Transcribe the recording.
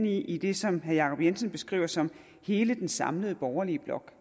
i det som herre jacob jensen beskriver som hele den samlede borgerlige blok